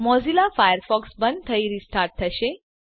Mozilla Firefox બંધ થઇ restart થશે